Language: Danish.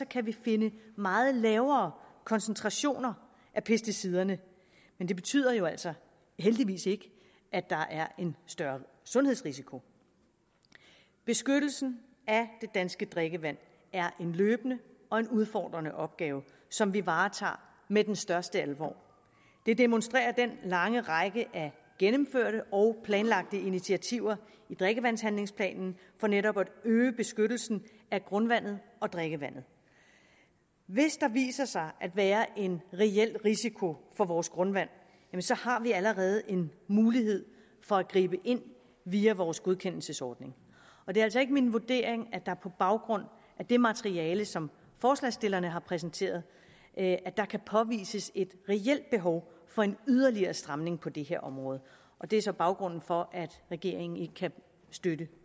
kan vi finde meget lavere koncentrationer af pesticiderne men det betyder jo altså heldigvis ikke at der er en større sundhedsrisiko beskyttelsen af det danske drikkevand er en løbende og en udfordrende opgave som vi varetager med den største alvor det demonstrerer den lange række af gennemførte og planlagte initiativer i drikkevandshandlingsplanen for netop at øge beskyttelsen af grundvandet og drikkevandet hvis der viser sig at være en reel risiko for vores grundvand har vi allerede en mulighed for at gribe ind via vores godkendelsesordning og det er altså ikke min vurdering at der på baggrund af det materiale som forslagsstillerne har præsenteret kan påvises et reelt behov for en yderligere stramning på det her område og det er så baggrunden for at regeringen ikke kan støtte